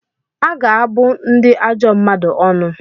A ga-abụ ndị ajọ mmadụ ọnụ.